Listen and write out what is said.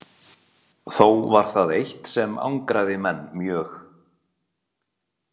Þó var það eitt sem angraði menn mjög.